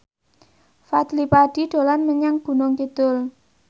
Fadly Padi dolan menyang Gunung Kidul